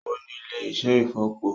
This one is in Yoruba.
Ó ní ilé-iṣẹ́ ìfọ̀po